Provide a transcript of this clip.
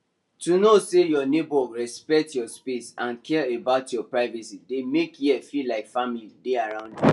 to know say your neighbours respect your space and care about your privacy dey make here feel like family dey around you